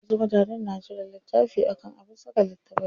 Wasu mutanen na jira littafi akan abin saka littafai.